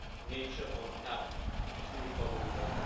nature on the path to recovery by